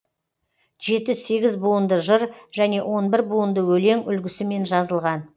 жеті сегіз буынды жыр және он бір буынды өлең үлгісімен жазылған